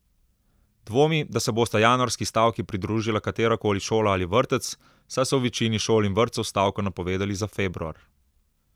Dvomi, da se bosta januarski stavki pridružila katerakoli šola ali vrtec, saj so v večini šol in vrtcev stavko napovedali za februar.